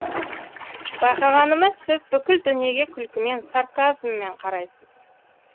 байқағанымыз сіз бүкіл дүниеге күлкімен сарказммен қарайсыз